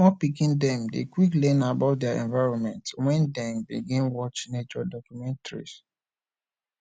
small pikin dem dey quick learn about dier environment wen dem begin watch nature documentaries